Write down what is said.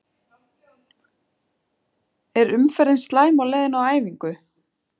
Er umferðin slæm á leiðinni á æfingu?